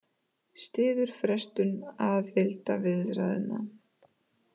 Styður frestun aðildarviðræðna